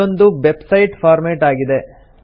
ಇದೊಂದು website format ಆಗಿದೆ